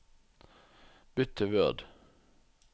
Bytt til Word